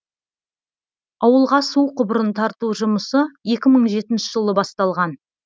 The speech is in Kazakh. ауылға су құбырын тарту жұмысы екі мың жетінші жылы басталған